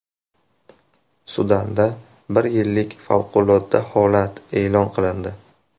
Sudanda bir yillik favqulodda holat e’lon qilindi.